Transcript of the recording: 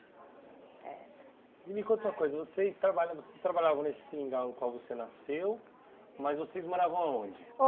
Eh... E me conta uma coisa, vocês trabalha vocês trabalhavam nesse seringal no qual você nasceu, mas vocês moravam aonde?